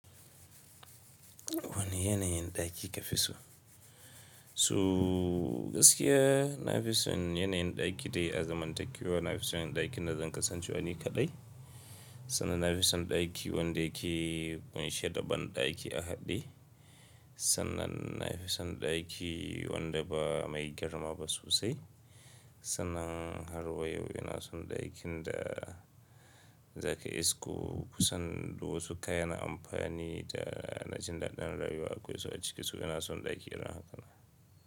Wane yanayin ɗaki ka fi so? To gaskiya na fi son yanayin ɗaki dai azaman takewa, na fi son yanayin ɗakin da zan kasance wa ni kaɗai. Sannan na fi son ɗaki wanda yake ƙunshe da banɗaki a haɗe. Sannan na fi son ɗaki wanda ba mai girma ba sosai. Sannan harwa yau ina son ɗakin da zaka isko kusan duk wasu kayan amfani da na jin daɗin rayuwa akwai su a ciki. So ina son ɗaki irin haka.